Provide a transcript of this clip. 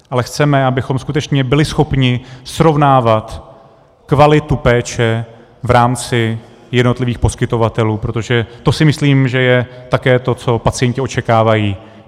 Ale chceme, abychom skutečně byli schopni srovnávat kvalitu péče v rámci jednotlivých poskytovatelů, protože to si myslím, že je také to, co pacienti očekávají.